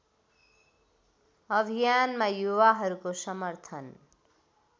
अभियानमा युवाहरूको समर्थन